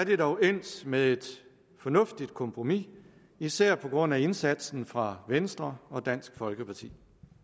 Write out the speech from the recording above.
det dog endt med et fornuftigt kompromis især på grund af indsatsen fra venstre og dansk folkeparti